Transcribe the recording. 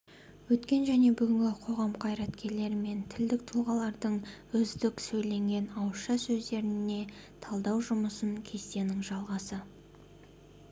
өткен және бүгінгі қоғам қайраткерлері мен тілдік тұлғалардың үздік сөйленген ауызша сөздеріне талдау жұмысын кестенің жалғасы